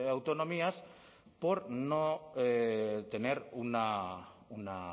autonomías por no tener una